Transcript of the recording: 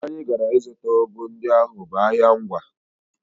Ebe anyị gara ịzụta ụgụ ndị ahụ bụ ahịa Ngwá